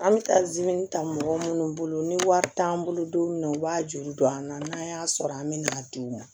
An bɛ taa ta mɔgɔ minnu bolo ni wari t'an bolo don min na u b'a juru don an na n'an y'a sɔrɔ an bɛ na di u ma